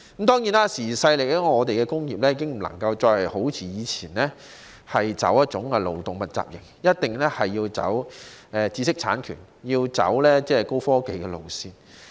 當然，時移世易，我們的工業已經不能夠好像以前那樣，採取勞動密集型，一定要走知識產權、高科技路線。